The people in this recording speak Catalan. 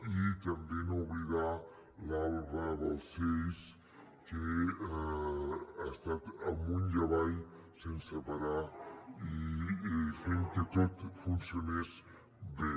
i també no oblidar l’alba balcells que ha estat amunt i avall sense parar i fent que tot funcionés bé